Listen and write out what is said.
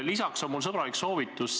Lisaks on mul üks sõbralik soovitus.